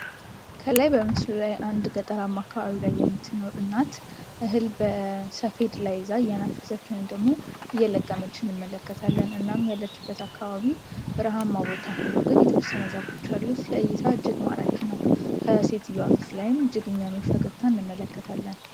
ከላይ በምስሉ ላይ አንድ ገጠራማ አካባቢ የምትኖር እናት እህል በሰፌድ ላይ ይዛ እየነፈሸች ወይንም ደግሞ እየለቀመች እንመለከታለን። እናም ያለችበት አካባቢ በረሃማ ሁኖ ግን የተወሰነ አንዛቦች አሉት። ለእይታ እጅግ ማራኪ ነው። ከሴትየዋ ፊት ላይም እጅግ የሚያምር ፈገግታ እንመለከታለን።